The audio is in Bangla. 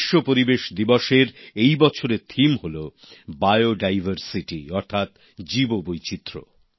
বিশ্ব পরিবেশ দিবসের এই বছরের থিম হল বায়োডাইভারসিটি অর্থাৎ জীববৈচিত্র্য